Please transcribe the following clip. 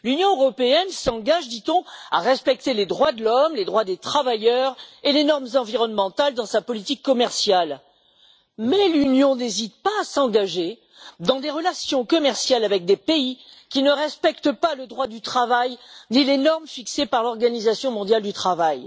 L'Union européenne s'engage, dit on, à respecter les droits de l'homme, les droits des travailleurs et les normes environnementales dans sa politique commerciale. Mais elle n'hésite pas à s'engager dans des relations commerciales avec des pays qui ne respectent pas le droit du travail, ni les normes fixées par l'Organisation mondiale du travail.